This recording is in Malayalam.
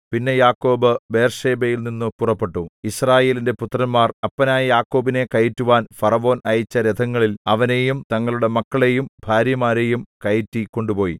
പിന്നെ യാക്കോബ് ബേർശേബയിൽനിന്നു പുറപ്പെട്ടു യിസ്രായേലിന്റെ പുത്രന്മാർ അപ്പനായ യാക്കോബിനെ കയറ്റുവാൻ ഫറവോൻ അയച്ച രഥങ്ങളിൽ അവനെയും തങ്ങളുടെ മക്കളെയും ഭാര്യമാരെയും കയറ്റി കൊണ്ടുപോയി